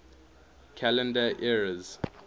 calendar eras